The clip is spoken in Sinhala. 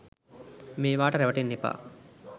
මේවාට රැවටෙන්න එපා